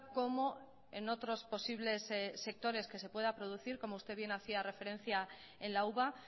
como en otros posibles sectores que se pueda producir como usted bien hacia referencia en la uva